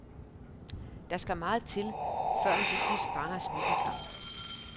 Der skal meget til, før han til sidst bare har smidt en kamp.